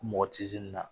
Mɔgɔ tɛ se nin na